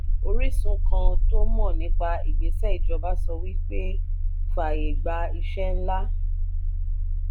orísun kan tó mọ nípa ìgbésẹ ìjọba sọ wípé èn faaye gbe iṣẹ nlá.